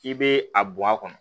I bɛ a bɔ a kɔnɔ